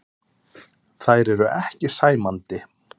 Þær eru ekki sæmandi.